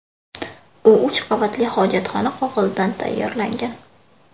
U uch qavatli hojatxona qog‘ozidan tayyorlangan.